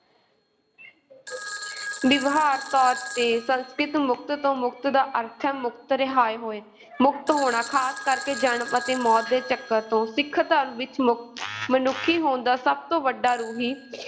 ਵਿਵਹਾਰਕ ਤੌਰ ‘ਤੇ, ਸੰਸਕ੍ਰਿਤ ਮੁੱਕਤ ਤੋਂ ਮੁਕਤ ਦਾ ਅਰਥ ਹੈ ਮੁਕਤ, ਰਿਹਾਅ ਹੋਏ ਮੁਕਤ ਹੋਣਾ, ਖਾਸ ਕਰਕੇ ਜਨਮ ਅਤੇ ਮੌਤ ਦੇ ਚੱਕਰ ਤੋਂ ਸਿੱਖ ਧਰਮ ਵਿੱਚ ਮੁਕਤ ਮਨੁੱਖੀ ਹੋਂਦ ਦਾ ਸਭ ਤੋਂ ਵੱਡਾ ਰੂਹੀ